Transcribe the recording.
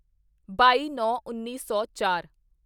ਬਾਈਨੌਂਉੱਨੀ ਸੌ ਚਾਰ